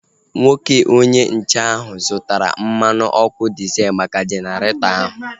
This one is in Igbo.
Nwoke onye nche ahu zụtara mmanụ ọkụ diezel maka Jeneretọ ahu